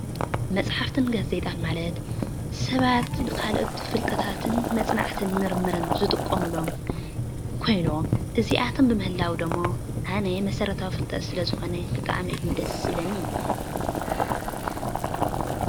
መፅሓፍትን ጋዜጣን ማለት ሰባት ንካልኦት ንፍልጠታትን ንመፅናዕትን ምርምርን ዝጥቀምሎም ኮይኖም እዚኣቶም ብምህላዎም ድሞ ኣነ መሰረታዊ ፍልጠት ስለዝኮነ ብጣዕሚ እዩ ደስ ዝብለኒ፡፡